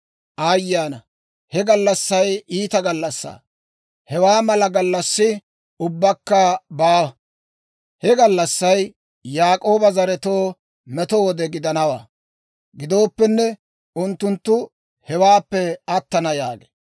Aayye ana! He gallassay iita gallassaa; hewaa mala gallassi ubbakka baawa. He gallassay Yaak'ooba zaretoo meto wode gidanawaa. Gidooppenne unttunttu hewaappe attana» yaagee.